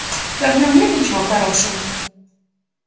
да в нем нет ничего хорошего